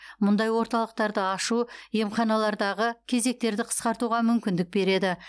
бұндай орталықтарды ашу емханалардағы кезектерді қысқартуға мүмкіндік береді